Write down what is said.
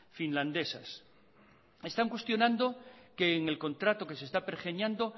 finlandesas están cuestionando que en el contrato que se está pergeñando